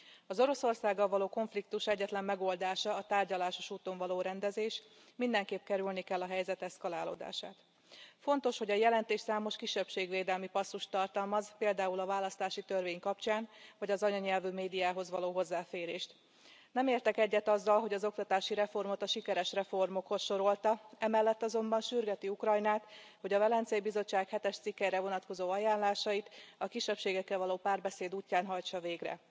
Az Oroszországgal való konfliktus egyetlen megoldása a tárgyalásos úton való rendezés, mindenképp kerülni kell a helyzet eszkalálódását. Fontos, hogy a jelentés számos kisebbségvédelmi passzust tartalmaz, például a választási törvény kapcsán az anyanyelvű médiához való hozzáférést. Nem értek egyet azzal, hogy az oktatási reformot a sikeres reformokhoz sorolta, emellett azonban sürgeti Ukrajnát, hogy a Velencei Bizottság hetes cikkére vonatkozó ajánlásait a kisebbségekkel való párbeszéd útján hajtsa végre.